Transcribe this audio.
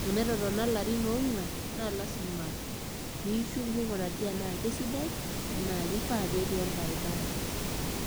tenetotona ilarin ongwan naa lasima pishuk mingurari enaakesidai naa kifaa petii orbaribara.